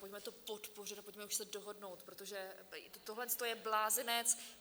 Pojďme to podpořit a pojďme už se dohodnout, protože tohle je blázinec.